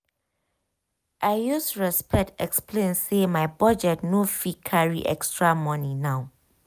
i use respect explain say my budget no fit carry extra money now.